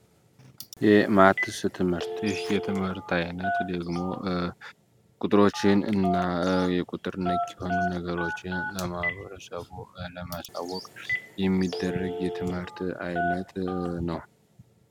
የማትስ ትምህርት ይህ የትምህርት አይነት ደግሞ ቁጥሮችን እና የቁጥር ነክ የሆኑ ነገሮችን ለማህበረሰቡ ለማሳወቅ የሚደረግ የትምህርት ዓይነት ነው።